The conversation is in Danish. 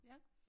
Ja